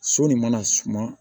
So nin mana suma